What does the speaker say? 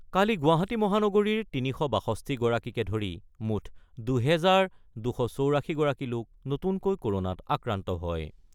কালি গুৱাহাটী মহানগৰীৰ ৩৬২ গৰাকীকে ধৰি মুঠ দুহেজাৰ ২৮৪ গৰাকী লোক নতুনকৈ ক'ৰণাত আক্ৰান্ত হয় ।